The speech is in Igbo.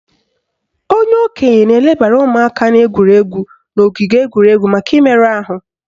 Onye okenye na-elebara ụmụaka na-egwuri egwu n'ogige egwuregwu maka imerụ ahụ